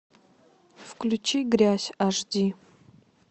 включи грязь аш ди